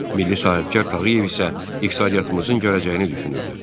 Milli sahibkar Tağıyev isə iqtisadiyyatımızın gələcəyini düşünürdü.